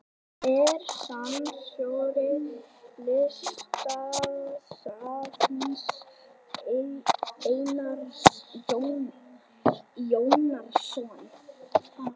Er safnstjóri Listasafns Einars Jónssonar.